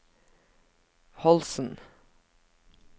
Holsen